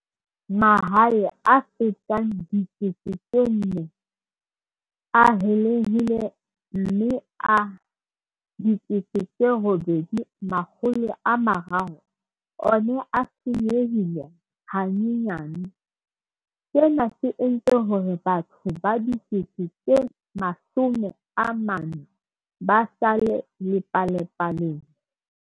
Mahae a fetang 4 000 a helehile mme a 8 300 ona a senyehile hanyenyane, sena se entse hore batho ba 40 000 ba sale lepalapaleng.